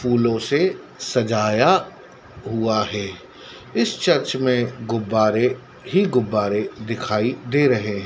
फूलों से सजाया हुआ है इस चर्च में गुब्बारे ही गुब्बारे दिखाई दे रहे।